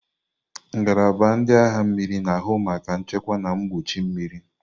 Ngalaba ndị agha mmiri na-ahụ maka nchekwa na mgbuchi mmiri.